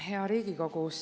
Hea Riigikogu!